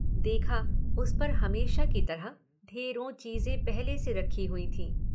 देखा उस पर हमेशा की तरह ढेरों चीज़ें पहले से रखी हुईं थीं।